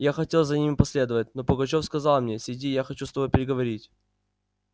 я хотел за ними последовать но пугачёв сказал мне сиди я хочу с тобою переговорить